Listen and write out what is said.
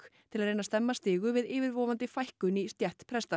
til að reyna að stemma stigu við yfirvofandi fækkun í stétt presta